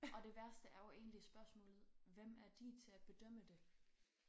Og det værste er jo egentlig spørgsmålet hvem er de til at bedømme det?